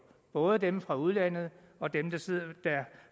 både dem fra udlandet og dem der